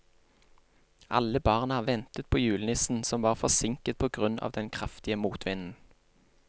Alle barna ventet på julenissen, som var forsinket på grunn av den kraftige motvinden.